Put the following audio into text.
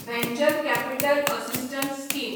venture capital assistance scheme